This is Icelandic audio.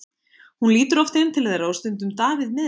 Hún lítur oft inn til þeirra og stundum Davíð með henni.